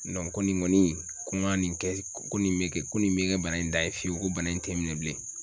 ko nin kɔni ko n ka nin kɛ ko nin bɛ kɛ ko nin bɛ kɛ bana in dan ye fiyewu ko bana in tɛ n minɛ bilen